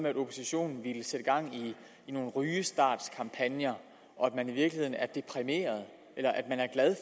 at oppositionen ville sætte gang i nogle rygestartkampagner og at vi i virkeligheden er deprimerede